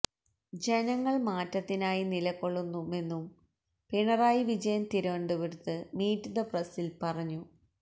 ജനങ്ങള് മാറ്റത്തിനായി നിലക്കൊള്ളുമെന്നും പിണറായി വിജയന് തിരുവനന്തപുരത്ത് മീറ്റ് ദ പ്രസില് പറഞ്ഞു